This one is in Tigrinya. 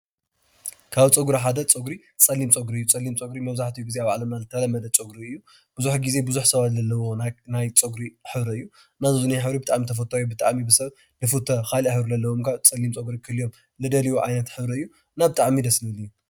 ካብ ፀጒሪ ሓደ ፀጒሪ ፀሊም ፀጒሪ እዩ። ፀሊም ፀጒሪ መብዛሕትኡ ግዜ ኣብ ዓለምና ዝተለመደ ፀጒሪ እዩ። ብዙሕ ግዜ ብዙሕ ሰባት ዝብህግዎ ናይ ፀጒሪ ሕብሪ እዩ። ፀሊም ሕብሪ ብጣዕሚ ተፈታዊ ብጣዕሚ ብሰብ ዝፍተ ካሊእ ሕብሪ ዘለዎም ከዓ ፀሊም ፀጒሪ ክህልዎም ዝደልይዎ ዓይነት ሕብሪ እዩ እና ብጣዕሚ ደስ ዝብል እዩ።